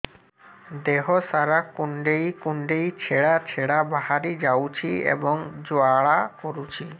ଦେହ ସାରା କୁଣ୍ଡେଇ କୁଣ୍ଡେଇ ଛେଡ଼ା ଛେଡ଼ା ବାହାରି ଯାଉଛି ଏବଂ ଜ୍ୱାଳା କରୁଛି